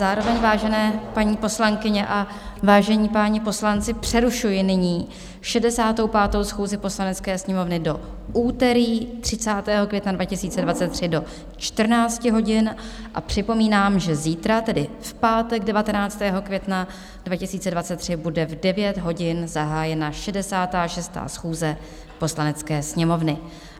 Zároveň, vážené paní poslankyně a vážení páni poslanci, přerušuji nyní 65. schůzi Poslanecké sněmovny do úterý 30. května 2023 do 14 hodin a připomínám, že zítra, tedy v pátek 19. května 2023, bude v 9 hodin zahájena 66. schůze Poslanecké sněmovny.